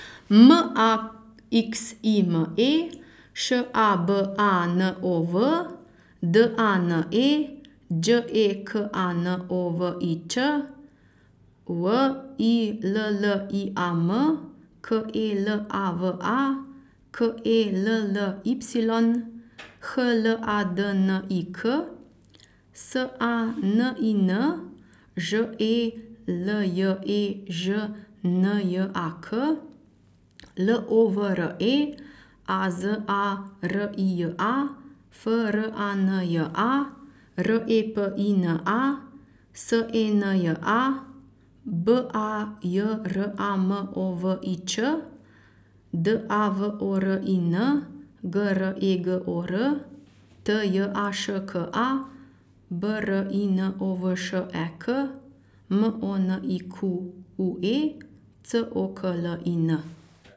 M A X I M E, Š A B A N O V; D A N E, Đ E K A N O V I Ć; W I L L I A M, K E L A V A; K E L L Y, H L A D N I K; S A N I N, Ž E L J E Ž N J A K; L O V R E, A Z A R I J A; F R A N J A, R E P I N A; S E N J A, B A J R A M O V I Č; D A V O R I N, G R E G O R; T J A Š K A, B R I N O V Š E K; M O N I Q U E, C O K L I N.